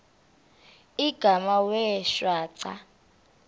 igama wee shwaca